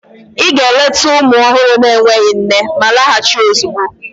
Ị ga-eleta ụmụ ọhụrụ na-enweghị nne ma laghachi ozugbo!